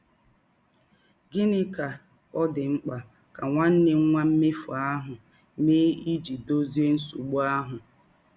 Gịnị ka ọ dị mkpa ka nwanne nwa mmefụ ahụ mee ịjị dọzie nsọgbụ ahụ?